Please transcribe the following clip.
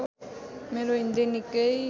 मेरो हिन्दी निकै